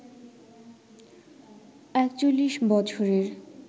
৪১ বছরের